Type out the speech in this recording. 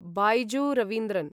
Byju Raveendran